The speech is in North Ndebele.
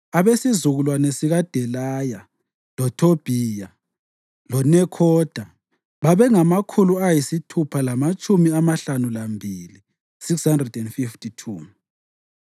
abesizukulwane sikaDelaya, loThobhiya loNekhoda babengamakhulu ayisithupha lamatshumi amahlanu lambili (652).